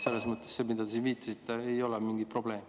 Selles mõttes see, millele te siin viitasite, ei ole mingi probleem.